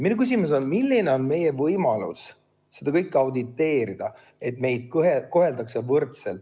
Minu küsimus on: milline on meie võimalus seda kõike auditeerida, et meid koheldaks võrdselt?